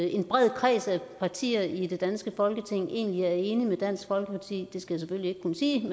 en bred kreds af partier i det danske folketing egentlig er enige med dansk folkeparti jeg skal selvfølgelig ikke kunne sige det